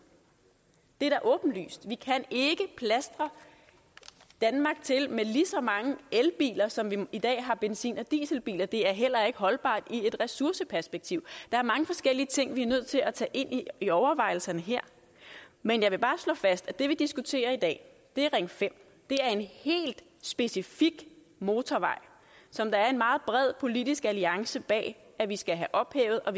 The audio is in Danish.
det er da åbenlyst vi kan ikke plastre danmark til med lige så mange elbiler som vi i dag har benzin og dieselbiler det er heller ikke holdbart i et ressourceperspektiv der er mange forskellige ting vi er nødt til at tage ind i overvejelserne her men jeg vil bare slå fast at det vi diskuterer i dag er ring fem det er en helt specifik motorvej som der er en meget bred politisk alliance bag at vi skal have ophævet og